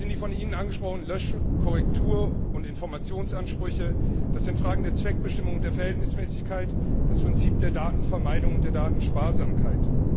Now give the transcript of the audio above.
Das sind die von Ihnen angesprochenen Lösch Korrektur und Informationsansprüche, das sind Fragen der Zweckbestimmung und der Verhältnismäßigkeit, das Prinzip der Datenvermeidung und der Datensparsamkeit.